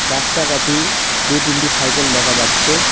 রাস্তাটাতি দু তিনটি সাইকেল দেখা যাচ্ছে।